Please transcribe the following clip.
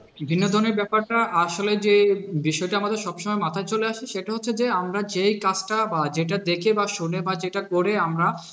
বিনোদনের ব্যাপারটা আসলে যে বিষয়টা আমাদের সবসময় মাথায় চলে আসে সেটা হচ্ছে যে আমরা যেই কাজটা বা যেটা দেখে বা শুনে বা যেটা করে আমরা